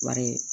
Wari